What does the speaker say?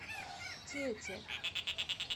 тете